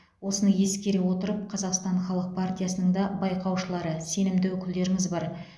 осыны ескере отырып қазақстан халық партиясының да байқаушылары сенімді өкілдеріңіз бар